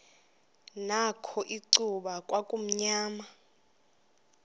nakho icuba kwakumnyama